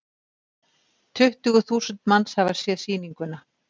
Tuttugu þúsund manns hafa séð sýninguna.